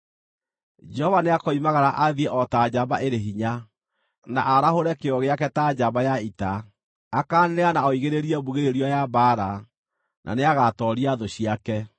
Jehova nĩakoimagara athiĩ o ta njamba ĩrĩ hinya, na aarahũre kĩyo gĩake ta njamba ya ita; akaanĩrĩra na oigĩrĩrie mbugĩrĩrio ya mbaara, na nĩagatooria thũ ciake.